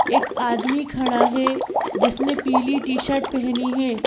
एक आदमी खड़ा है जिसने पीली टी-शर्ट पहनी है।